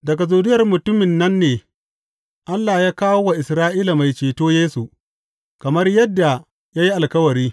Daga zuriyar mutumin nan ne Allah ya kawo wa Isra’ila Mai Ceto Yesu, kamar yadda ya yi alkawari.